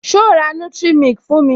So ra nutric milk fún mi?